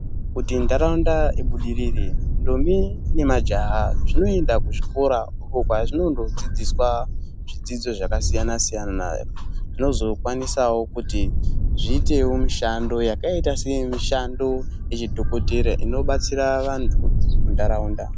Kuti ndaraunda ibudirire ndombi nemajaha zvinoenda kuzvikora uko kwazvinondodzidziswa zvidzidzo zvakasiyana siyana zvinozokwanisawo kuti zviitewo mishando yakaita semishando yechidhokodheya inobatsira vantu mundaraunda.